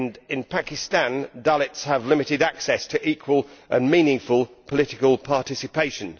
In Pakistan, Dalits have limited access to equal and meaningful political participation.